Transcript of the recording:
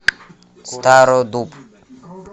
стародуб